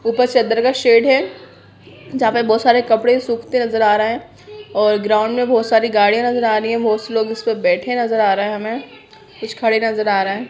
ऊपर चद्दर का शेड है जहां पर बहुत सारे कपड़े सूखते नजर आ रहे हैं और ग्राउंड में बहुत सारी गाड़ियां नजर आ रही है बहुत से लोग उसपे बैठे नजर आ रहे हैं हमें कुछ खड़े नजर आ रहे हैं।